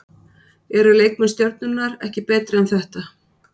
Eru leikmenn Stjörnunnar ekki betri en þetta?